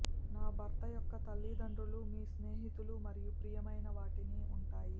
నా భర్త యొక్క తల్లిదండ్రులు మీ స్నేహితులు మరియు ప్రియమైన వాటిని ఉంటాయి